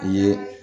I ye